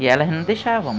E elas não deixavam.